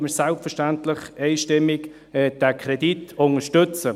Deshalb unterstützen wir selbstverständlich diesen Kredit einstimmig.